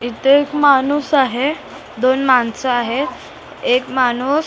इथे एक माणूस आहे दोन माणसं आहेत एक माणूस --